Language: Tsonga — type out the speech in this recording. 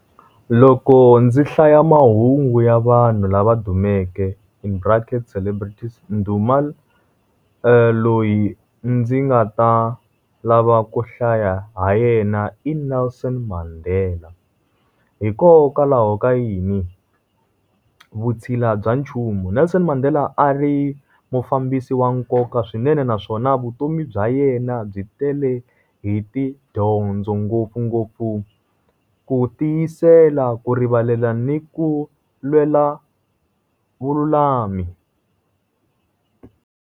Loko ndzi hlaya mahungu ya vanhu lava dumeke in brackets celebrities nduma loyi ndzi nga ta lava ku hlaya ha yena i Nelson Mandela. Hikokwalaho ka yini? Vutshila bya nchumu. Nelson Mandela a ri mufambisi wa nkoka swinene naswona vutomi bya yena byi tele hi tidyondzo ngopfungopfu ku tiyisela, ku rivalela, ni ku lwela vululami.